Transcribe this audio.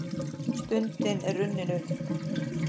Stundin er runnin upp.